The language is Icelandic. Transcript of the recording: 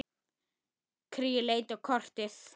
Geymt en ekki gleymt